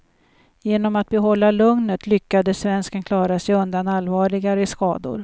Genom att behålla lugnet lyckades svensken klara sig undan allvarligare skador.